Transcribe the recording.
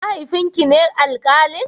Mahaifin ki ne alkalin?